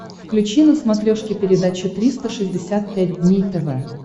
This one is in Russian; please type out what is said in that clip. включи на смотрешке передачу триста шестьдесят пять дней тв